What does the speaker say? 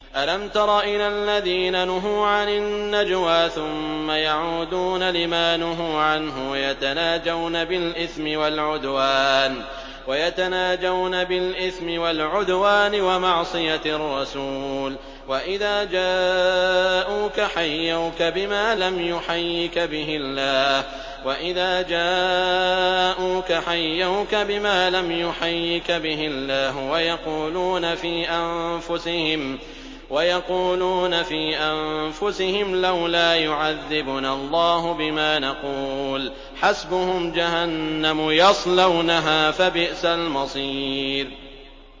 أَلَمْ تَرَ إِلَى الَّذِينَ نُهُوا عَنِ النَّجْوَىٰ ثُمَّ يَعُودُونَ لِمَا نُهُوا عَنْهُ وَيَتَنَاجَوْنَ بِالْإِثْمِ وَالْعُدْوَانِ وَمَعْصِيَتِ الرَّسُولِ وَإِذَا جَاءُوكَ حَيَّوْكَ بِمَا لَمْ يُحَيِّكَ بِهِ اللَّهُ وَيَقُولُونَ فِي أَنفُسِهِمْ لَوْلَا يُعَذِّبُنَا اللَّهُ بِمَا نَقُولُ ۚ حَسْبُهُمْ جَهَنَّمُ يَصْلَوْنَهَا ۖ فَبِئْسَ الْمَصِيرُ